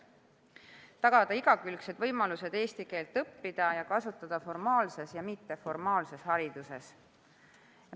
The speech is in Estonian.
Tahetakse tagada igakülgsed võimalused eesti keelt õppida ja kasutada seda formaalses ja mitteformaalses hariduses.